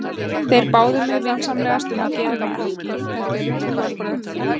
Þeir báðu mig vinsamlegast um að gera það ekki, þetta eru trúarbrögð.